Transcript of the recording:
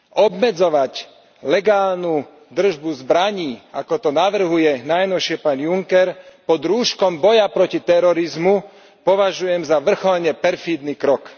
Obmedzovať legálnu držbu zbraní, ako to navrhuje najnovšie pán Juncker pod rúškom boja proti terorizmu, považujem za vrcholne perfídny krok.